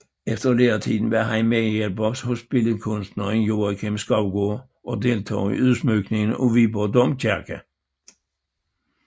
Efter læretiden var han medhjælper hos billedkunstneren Joakim Skovgaard og deltog i udsmykningen af Viborg Domkirke